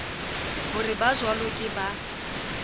ho re bajwalo ke ba